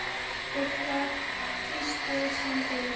Fuglar tístu sem fyrr.